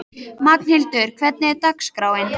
Magnhildur, hvernig er dagskráin?